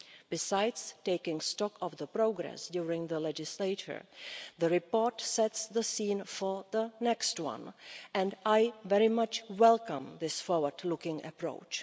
Besides taking stock of the progress during the legislature, the report sets the scene for the next one, and I very much welcome this forward looking approach.